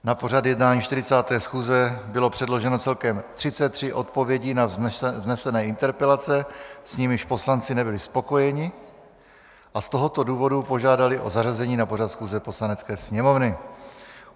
Na pořad jednání 40. schůze bylo předloženo celkem 33 odpovědí na vznesené interpelace, s nimiž poslanci nebyli spokojeni, a z toho důvodu požádali o zařazení na pořad schůze Poslanecké sněmovny.